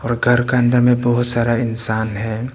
घर का अंदर में बहुत सारा इंसान है।